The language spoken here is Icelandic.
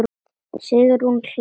Sigrún hlær.